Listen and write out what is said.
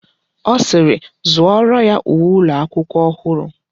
Ọ sịịrị, zụọrọ ya uwe ụlọakwụkwọ ọhụrụ!